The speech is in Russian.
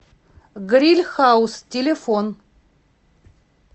гриль хаус телефон